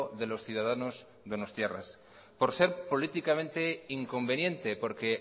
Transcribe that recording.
de los ciudadanos donostiarras por ser políticamente inconveniente porque